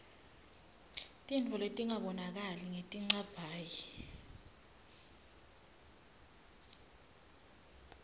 tintfo letingabonakali ngetincabhayi